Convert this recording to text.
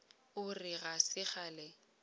o re ga se kgale